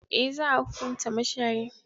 Eh, za a hunkunta mashayin.